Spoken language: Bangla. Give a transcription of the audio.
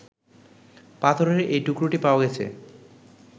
পাথরের এই টুকরোটি পাওয়া গেছে